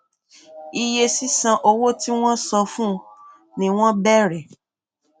iye sísan owó tí wọn san fún ni wọn bẹrẹ